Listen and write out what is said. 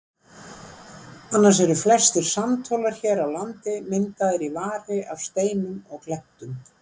Annars eru flestir sandhólar hér á landi myndaðir í vari af steinum og klettum.